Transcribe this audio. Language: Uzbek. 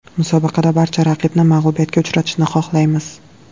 Musobaqada barcha raqibni mag‘lubiyatga uchratishni xohlaymiz.